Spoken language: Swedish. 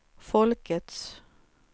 folkets